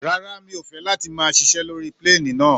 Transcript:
Rárá, mi ò fẹ́ láti máa ṣiṣé lórí plane náà.